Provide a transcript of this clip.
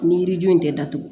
Ni yirijo in tɛ datugu